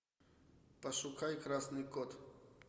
пошукай красный кот